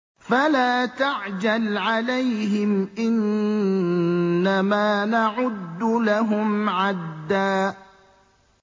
فَلَا تَعْجَلْ عَلَيْهِمْ ۖ إِنَّمَا نَعُدُّ لَهُمْ عَدًّا